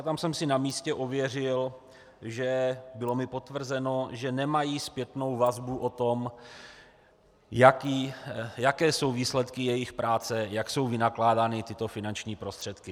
A tam jsem si na místě ověřil a bylo mi potvrzeno, že nemají zpětnou vazbu o tom, jaké jsou výsledky jejich práce, jak jsou vynakládány tyto finanční prostředky.